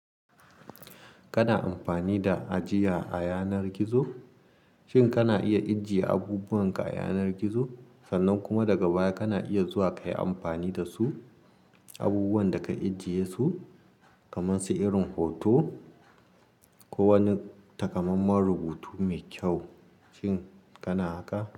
Kana amfani da ajiya a yanar gizo? Shin kana iya ijjiye abubuwan ka a yanar gizo sannan kuma daga baya kana iya zuwa kayi amfani da su abubuwan da ka ajiye su kamar su irin hoto ko wani takamaiman rubutu mai kyau, shin kana haka?